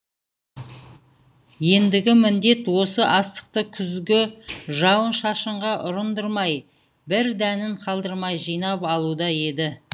ендігі міндет осы астықты күзгі жауын шашынға ұрындырмай бір дәнін қалдырмай жинап алуда еді